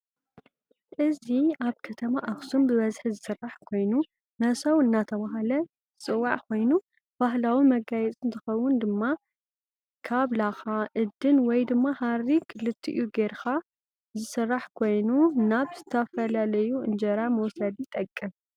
እዚ አብ ከተማ አክሱም ብዝሒ ዝስራሕ ኮይኑ መሰው እዳተባሃለ ዝፂዋዕ ኾይኑ ባህላዊ መጋየፂ እንትከውን ድማ ከብ ላኻ ፣እድን ወይ ድማ ሃሪ ክሊትኡ ገይረኻ ዝስራሕ ኮይኑ ናብ ዝተፉላዩ እንጀራ መውሰዲ ይጠቅም።